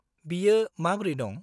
बियो माब्रै दं?